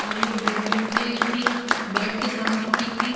और ये बैडरूम के ठीक बेड के सामने ठीक ही --